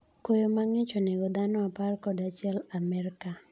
Koyo mang'ich onego dhano apar kod achiel Amerka.